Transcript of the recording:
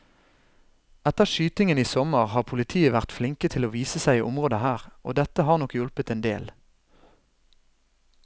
Etter skytingen i sommer har politiet vært flinke til å vise seg i området her, og dette har nok hjulpet en del.